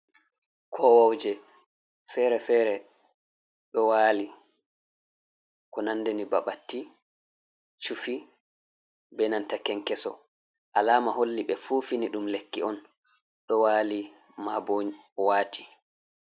Kowoje fere-fere ɗo wali ko nandani baɓatti, chufi, be nanta kenkeso. Alama holli be fu fini ɗum lekki on ɗo wali mabo wati.